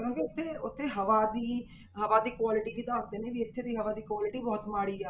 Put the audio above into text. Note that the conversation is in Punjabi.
ਕਰੋਂਗੇ ਤੇ ਉੱਥੇ ਹਵਾ ਦੀ ਹਵਾ ਦੀ quality ਵੀ ਦੱਸਦੇ ਨੇ ਵੀ ਇੱਥੇ ਦੀ ਹਵਾ ਦੀ quality ਬਹੁਤ ਮਾੜੀ ਆ।